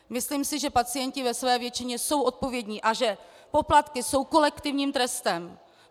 Myslím si, že pacienti ve své většině jsou odpovědní a že poplatky jsou kolektivním trestem.